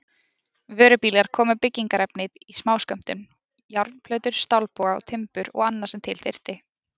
Vörubílar komu með byggingarefnið í smáskömmtum, járnplötur, stálboga, timbur og annað sem til þurfti.